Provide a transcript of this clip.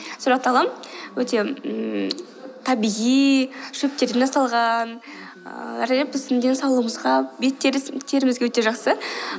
сол жақта алам өте ммм табиғи шөптерден жасалған денсаулығымызға бет терімізге өте жақсы